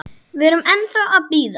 Við erum ennþá að bíða.